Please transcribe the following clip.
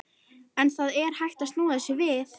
En það er hægt að snúa þessu við.